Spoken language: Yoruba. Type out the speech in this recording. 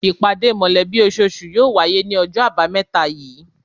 Ìpàdé mọ̀lẹ́bí ososù náà yóò wáyé ní ojó àbámẹ́ta yìí